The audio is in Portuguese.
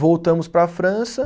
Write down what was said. Voltamos para a França.